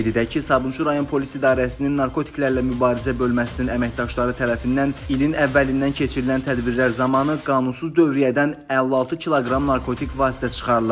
Qeyd edək ki, Sabunçu rayon polis idarəsinin narkotiklərlə mübarizə bölməsinin əməkdaşları tərəfindən ilin əvvəlindən keçirilən tədbirlər zamanı qanunsuz dövriyyədən 56 kq narkotik vasitə çıxarılıb.